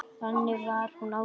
Þannig var hún Ásdís.